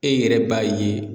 E yɛrɛ b'a ye